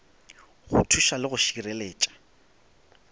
go thuša le go šireletša